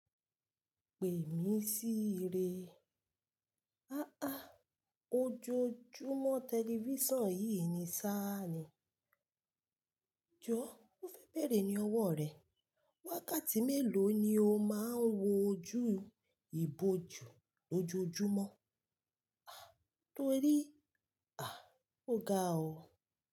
Pè mí sí ire. Aáà, ojoojúmọ́ tẹlifíṣàn yìí ni sá ni. Jọ́, ó fẹ́ bere ní ọwọ́ rẹ. Wákàtí mélòó ni o máa ń wo ojú ìbòjú ojoojúmọ́? Ah torí, ah o ga o.